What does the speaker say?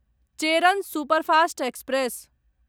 Cheran superfast express